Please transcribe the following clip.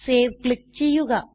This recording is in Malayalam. സേവ് ക്ലിക്ക് ചെയ്യുക